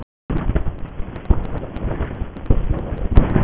Inn óstýriláti sérvitringur er orðinn bljúgur almúgamaður.